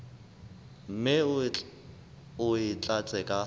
mme o e tlatse ka